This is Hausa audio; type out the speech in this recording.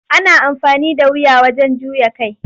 Ana amfani da wuya wajen juya kai.